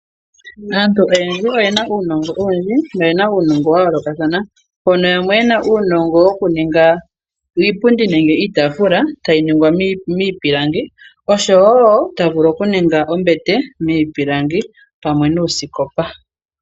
Aantu oyendji oyena uunongo owundji no yena uunongo wa yoolokathana mpono yamwe yena uunongo wokuninga iipundi nenge iitaafula tayi ningwa miipilangi oshowo tavulu okuninga ombete miipilangi pamwe nuusikopa.